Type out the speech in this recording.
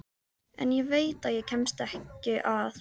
En ég veit að ég kemst ekki að.